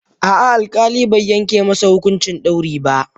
A'a, alkali bai yanke masa hukuncin dauri ba.